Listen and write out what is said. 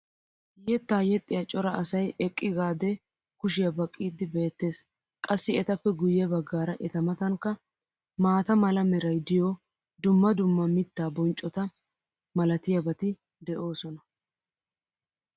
yettaa yexxiya cora asay eqqigaadee kushiya baqiidi beetees. qassi etappe guye bagaara eta matankka maata mala meray diyo dumma dumma mitaa bonccota malatiyaabati de'oosona.